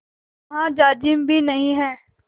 जहाँ जाजिम भी नहीं है